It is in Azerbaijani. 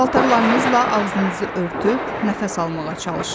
Paltarlarınızla ağzınızı örtüb nəfəs almağa çalışın.